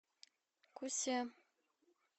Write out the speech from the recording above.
кусе